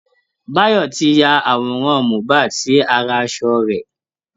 Bayọ̀ ti ya àwòrán Mohbad sí ara asọ rẹ̀